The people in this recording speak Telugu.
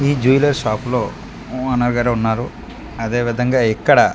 ఈ జువెలర్ షాప్ లో ఊ ఓనర్ ఉన్నారు అదే విధంగా ఇక్కడ --